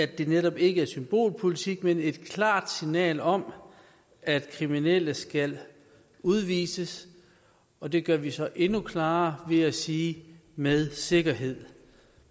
det netop ikke er symbolpolitik men et klart signal om at kriminelle skal udvises og det gør vi så endnu klarere ved at sige med sikkerhed